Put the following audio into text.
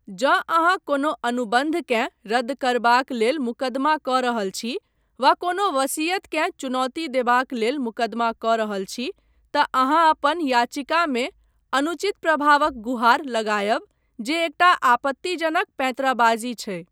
जँ अहाँ कोनो अनुबन्धकेँ रद्द करबाक लेल मुकदमा कऽ रहल छी वा कोनो वसीयतकेँ चुनौती देबाक लेल मुकदमा कऽ रहल छी तँ अहाँ अपन याचिकामे अनुचित प्रभावक गुहार लगायब, जे एकटा आपत्तिजनक पैंतराबाजी छै।